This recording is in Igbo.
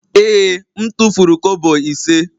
Ee, m tufuru kobo ise.